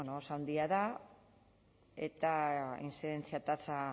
oso handia da eta intzidentzia tasa